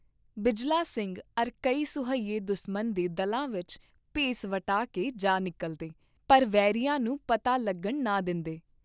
ਬਿਜਲਾ ਸਿੰਘ ਅਰ ਕਈ ਸੂਹੀਏਂ ਦੁਸਮਨ ਦੇ ਦਲਾਂ ਵਿਚ ਭੇਸ ਵਟਾ ਕੇ ਜਾ ਨਿਕਲਦੇ , ਪਰ ਵੈਰੀਆਂ ਨੂੰ ਪਤਾ ਲੱਗਣ ਨਾ ਦੇ ਂਦੇ ।